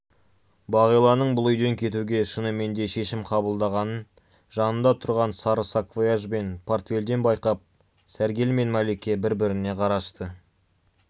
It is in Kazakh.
бағиланың бұл үйден кетуге шынымен шешім қабылдағанын жанында тұрған сары саквояж бен портфельден байқап сәргел мен мәлике бір-біріне қарасты